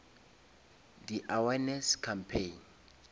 di awareness campaign